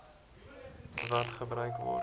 wat gebruik word